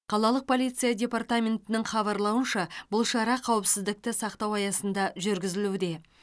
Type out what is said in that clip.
қалалық полиция департаментінің хабарлауынша бұл шара қауіпсіздікті сақтау аясында жүргізілуде